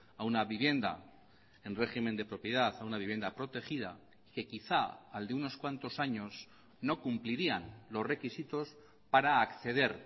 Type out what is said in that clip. a una vivienda en régimen de propiedad a una vivienda protegida que quizá al de unos cuantos años no cumplirían los requisitos para acceder